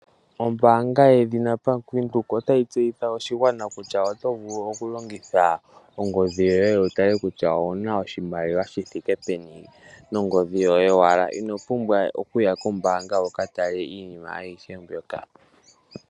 Ombaanga yaBank Windhoek ota yi tseyithile oshigwana kutya oto vulu okulongitha ongodhi yoye wu tale kutya owu na oshimaliwa shithike peni ningi dhi yoye owala. Ino pumbwa oku ya kombaanga wuka tale iinima ayihe mbyoka.